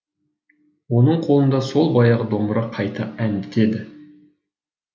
оның қолында сол баяғы домбыра қайта әндетеді